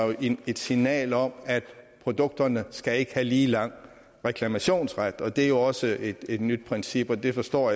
et signal om at produkterne skal have lige lang reklamationsret og det er jo også et nyt princip og jeg forstår